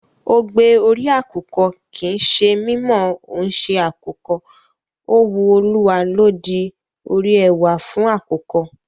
Ogbe orí àkùkọ kì í ṣe mí mọ̀ ọ́n ṣe àkùkọ, ó wu Olúwa ló di orí ẹwà fún àkùkọ.